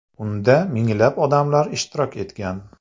Unda minglab odamlar ishtirok etgan.